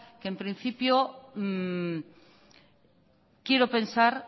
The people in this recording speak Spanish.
que en principio quiero pensar